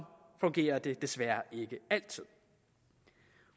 fungerer det desværre ikke altid